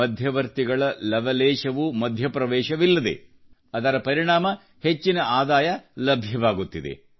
ಮಧ್ಯವರ್ತಿಗಳ ಲವಲೇಶವೂ ಮಧ್ಯಪ್ರವೇಶವಿಲ್ಲದೆ ಅದರ ಪರಿಣಾಮ ಹೆಚ್ಚಿನ ಆದಾಯ ಲಭ್ಯವಾಗುತ್ತಿದೆ